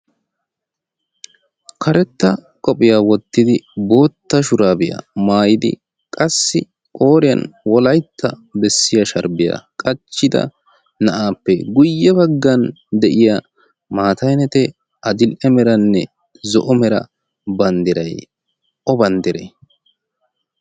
karetta qophiyaa wottidi bootta shuraabiyaa maayidi qassi ooriyan wolaitta bessiya sharbbiyaa qachchida na'aappe guyye baggan de'iya maatainetee adil''e meranne zo'o mera banddiray o banddiray